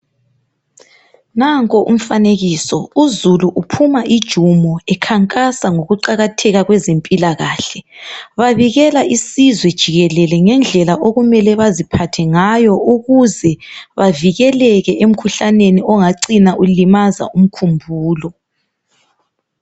Nanko umfanekiso uzulu uphuma ijumo ekhankasa ngokuqakatheka kwezempilakahle. Babikela isizwe jikelele ngendlela okumele baziphathe ngayo ukuze bavikeleke emkhuhlaneni ongacina ulimaza umkhumbulo.